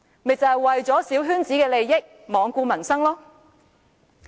不就是為了小圈子的利益而罔顧民生嗎？